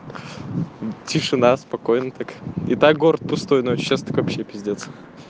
тишина спокойно так и так город пустой но сейчас так вообще пиздец